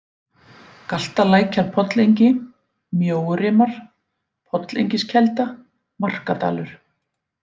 Galtalækjarpollengi, Mjóurimar, Pollengiskelda, Markadalur